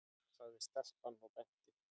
sagði stelpan og benti.